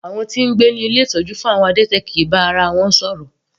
Àwọn tí ń gbé ní ilé ìtọ́jú fún àwọn adẹ́tẹ̀ kìí bá ara wọn.